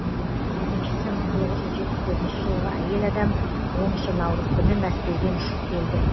екіншісі мың тоғыз жүз жетпіс төртінші жылғы әйел адам оныншы наурыз күні мәскеуден ұшып келді